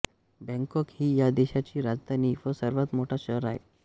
Bangkok ही या देशाची राजधानी व सर्वात मोठे शहर आहे